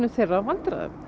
þeirra vandræðum